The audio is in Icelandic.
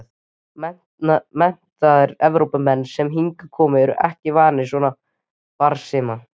Menntaðir Evrópumenn sem hingað koma eru ekki vanir svona barbarisma.